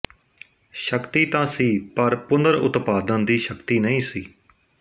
ਸ਼ਕਤੀ ਤਾਂ ਸੀ ਪਰ ਪੁਨਰ ਉਤਪਾਦਨ ਦੀ ਸ਼ਕਤੀ ਨਹੀਂ ਸੀ